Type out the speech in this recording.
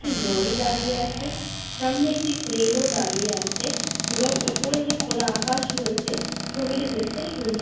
একটি লরি দাঁড়িয়ে আছে সামনে একটি ক্রেন ও দাঁড়িয়ে আছে। এবং ওপরে যে খোলা আকাশ রয়েছে ছবিটি দেখতে সুন্দর --